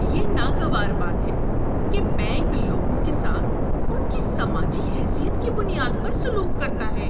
یہ ناگوار بات ہے کہ بینک لوگوں کے ساتھ ان کی سماجی حیثیت کی بنیاد پر سلوک کرتا ہے۔